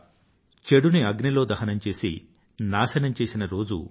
చెడుని అగ్నిలో దహనం చేసి నాశనం చేసే రోజు ఇవాళ